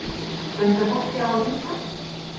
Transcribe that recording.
Benda fólki á að hringja